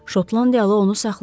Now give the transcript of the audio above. Şotlandiyalı onu saxladı.